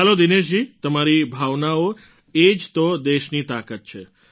ચાલો દિનેશજી તમારી ભાવનાઓ એ જ તો દેશની તાકાત છે